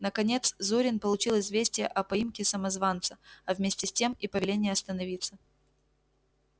наконец зурин получил известие о поимке самозванца а вместе с тем и повеление остановиться